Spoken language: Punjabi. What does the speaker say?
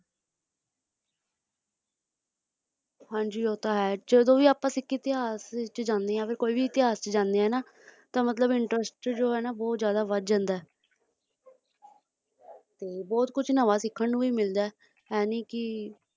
ਹਾਂਜੀ ਉਹ ਤੈਅ ਹੈ ਆਪਾ ਜਦੋਂ ਵੀ ਕਿਸੇ ਇਤਿਹਾਸ ਵਿਚ ਜਾਣਾ ਚੁਹੰਦੇ ਵਿੱਚ ਇੰਟਰਸਟ ਆਪਣੇ ਆਪ ਵਡ ਜਾਂਦਾ ਅਤ ਤੇ ਬਹੁਤ ਕੁਝ ਸਿੱਖਣ ਨੂੰ ਵੀ ਲੱਗਦੈ